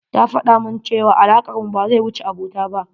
Ta faɗamun cewa alakar mu ba zai wuce abota ba.